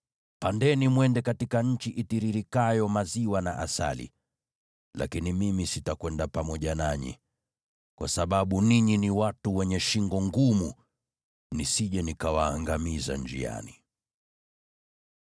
Pandeni mwende katika nchi itiririkayo maziwa na asali. Lakini mimi sitakwenda pamoja nanyi, kwa sababu ninyi ni watu wenye shingo ngumu, nisije nikawaangamiza njiani.”